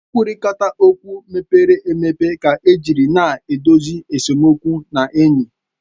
Nkwurịta okwu mepere emepe ka ejiri na-edozi esemokwu na enyi